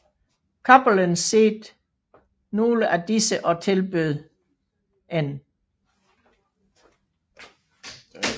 Cappelen set nogle af disse og tilbød N